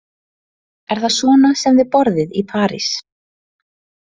Er það svona sem þið borðið í París?